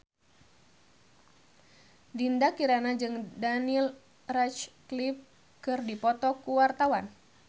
Dinda Kirana jeung Daniel Radcliffe keur dipoto ku wartawan